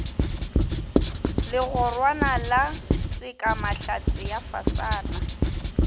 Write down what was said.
legorwana la tekamahlatse ya fasana